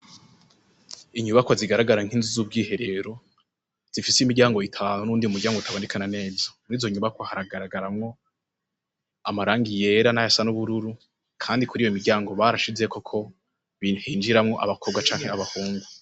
Inyubakwa zigaragara nk'inzu zu bwiherero zifise imiryango itanu n'uwundi mu ryango utaboneka neza murizo nyubakwa haragaragaramwo amarangi yera nayasa n'ubururu kandi kuriyo miryango barashizeko ibihe hinjiramwo abakobwa canke abahungu.